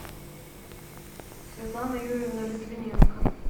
светлана юрьевна литвиненко